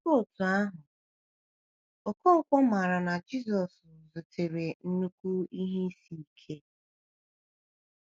Ọ dịkwa otú ahụ, Okonkwo maara na Jisọshụ zutere nnukwu ihe isi isi ike.